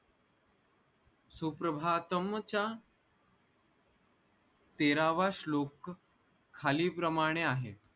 सुप्रभातम च्या तेरावा श्लोक खाली प्रमाणे आहे